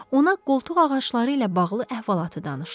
Ona qoltuq ağacları ilə bağlı əhvalatı danışdı.